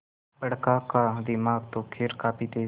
बड़का का दिमाग तो खैर काफी तेज है